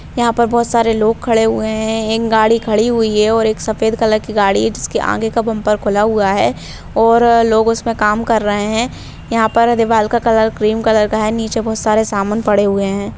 यहाँ पर बहुत सारे लोग खड़े हुए हैं एक गाड़ी खड़ी हुई है और एक सफ़ेद कलर की गाड़ी है जिसके आगे का बम्पर खुला हुआ है और लोग उसमें काम कर रहें हैं यहाँ पर दीवार का कलर क्रीम कलर का है नीचे बहुत सारे सामान पड़े हुए हैं।